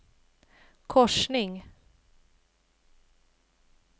korsning